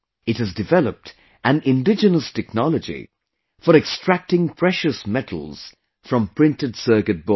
It has developed an indigenous technology for extracting precious metals from Printed Circuit Boards